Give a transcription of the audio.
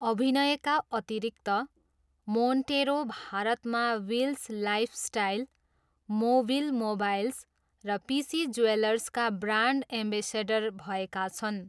अभिनयका अतिरिक्त, मोन्टेरो भारतमा विल्स लाइफस्टाइल, मोभिल मोबाइल्स र पिसी ज्वेलर्सका ब्रान्ड एम्बेसडर भएका छन्।